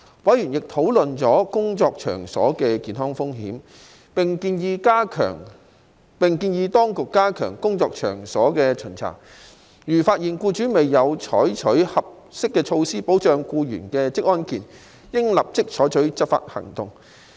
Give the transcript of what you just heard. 委員亦討論了工作場所的健康風險，並建議當局加強工作場所的巡查，如發現僱主未有採取合適措施保障僱員的職安健，應立即採取執法行動。